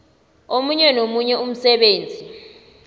omunye nomunye umsebenzi